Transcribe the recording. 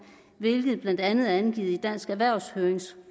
hvilket blandt andet er angivet i dansk erhvervs høringssvar